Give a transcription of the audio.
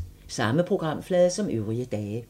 Samme programflade som øvrige dage